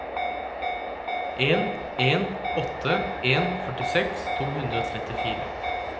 en en åtte en førtiseks to hundre og trettifire